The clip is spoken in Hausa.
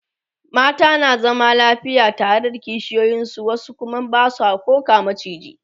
mata na zama lafiya tare da kishiyoyin su wasu Kuma Basu koh ga maciji